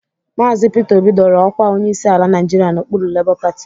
Maazị Pita Obi dọrọ ọkwa onyeisi ala Nịajịrịa n'okpuru lebọ pati